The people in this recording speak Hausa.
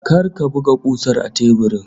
Kar ka buga kusar a teburin!